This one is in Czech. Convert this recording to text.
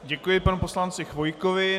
Děkuji panu poslanci Chvojkovi.